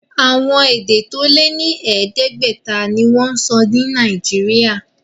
Àwọn èdè tó lé ní ẹ̀ẹ́dẹ́gbẹ̀ta ni wọ́n ń sọ ní Nàìjíríà.